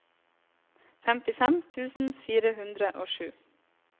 femtifem tusen fire hundre og sju